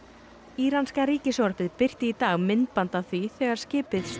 íranska ríkissjónvarpið birti í dag myndband af því þegar skipið